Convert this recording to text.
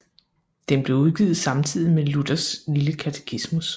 Den blev udgivet samtidig med Luthers lille Katekismus